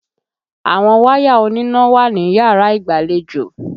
Àwọn wáyà oníná wà níyàrá ìgbàlejò.